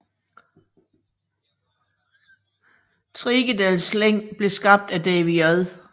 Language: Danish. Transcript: Trigedasleng blev skabt af David J